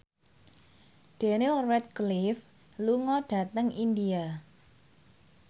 Daniel Radcliffe lunga dhateng India